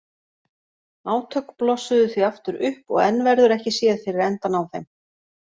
Átök blossuðu því aftur upp og enn verður ekki séð fyrir endann á þeim.